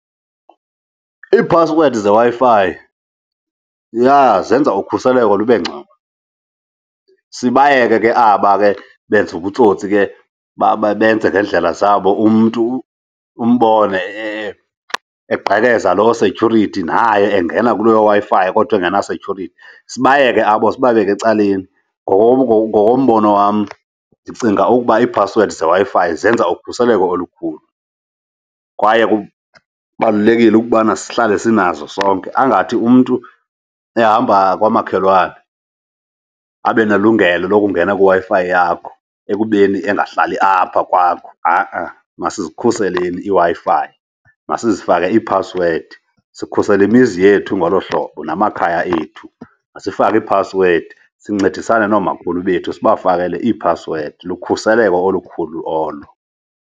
Iiphasiwedi zeWi-Fi, yha, zenza ukhuseleko lube ngcono. Sibayeke ke aba ke benza ubutsotsi ke benze ngeendlela zabo umntu umbone egqekeza loo setyhurithi naye engena kulooWi-Fi kodwa engenasetyhurithi. Sibayeke abo sibabeke ecaleni. Ngokombono wam, ndicinga ukuba iiphasiwedi zeWi-fi zenza ukhuseleko olukhulu kwaye kubalulekile ukubana sihlale sinazo sonke, angathi umntu ehamba kwamakhelwane abanelungelo lokungena kwiWi-Fi yakho ekubeni engahlali apha kwakho. Ha-a, masizikhuseleni iiWi-Fi, masizifake iiphasiwedi. Sikhusela imizi yethu ngolo hlobo namakhaya ethu, masifake iiphasiwedi sincedisane noomakhulu bethu, sibafakele iiphasiwedi. Lukhuseleko olukhulu olo.